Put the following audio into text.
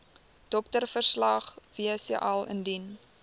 doktersverslag wcl indien